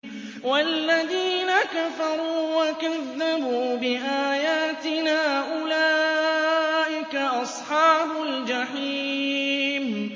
وَالَّذِينَ كَفَرُوا وَكَذَّبُوا بِآيَاتِنَا أُولَٰئِكَ أَصْحَابُ الْجَحِيمِ